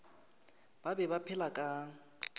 ba be ba phepela ka